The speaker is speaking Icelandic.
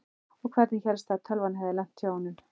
Og hvernig hélstu að tölvan hefði lent hjá honum?